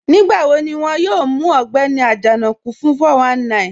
Nígbàwò̀ ní wọn yóò mù Ọ̀gbẹni Ajanaku fún 419?